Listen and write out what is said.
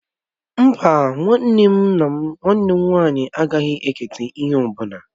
Mbá, nwanne m nwaanyị agaghị eketa ihe ọ bụla.